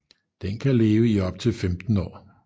Den kan leve i op til 15 år